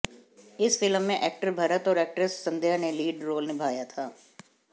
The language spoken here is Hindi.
इस फिल्म में एक्टर भरत और एक्ट्रेस संध्या ने लीड रोल निभाया था